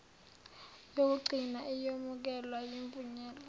yokugcina iyomukelwa ivunywe